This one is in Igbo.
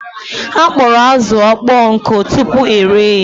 A kpọrọ azụ ọkpọ nkụ tupu ere ya